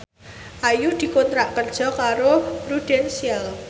Ayu dikontrak kerja karo Prudential